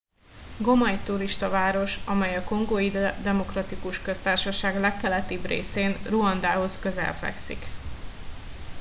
goma egy turistaváros amely a kongói demokratikus köztársaság legkeletibb részén ruandához közel fekszik